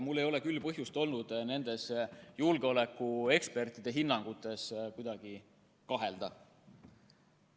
Mul ei ole küll põhjust olnud nende julgeolekuekspertide hinnangutes kuidagi kahelda.